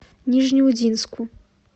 нижнеудинску